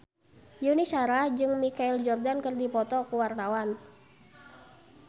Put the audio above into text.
Yuni Shara jeung Michael Jordan keur dipoto ku wartawan